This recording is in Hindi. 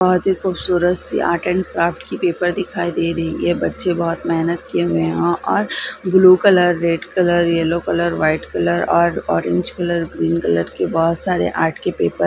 बहोत ही खूबसूरत सी आर्ट एंड क्राफ्ट की पेपर दिखाई दे रही है बच्चे बहोत मेहनत किए हुए हैं और blue colour red colour yellow colour white colour और ऑरेंज कलर ग्रीन कलर के बहोत सारे आर्ट के पेपर --